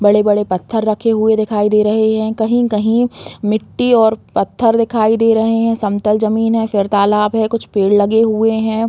बड़े-बड़े पत्थर रखे हुए दिखाई दे रहे हैं कहीं-कहीं मिट्टी और पत्थर दिखाई दे रहे हैं समतल जमीन है फिर तालाब है कुछ पेड़ लगे हुए हैं।